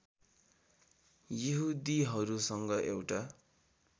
यहुदीहरूसँग एउटा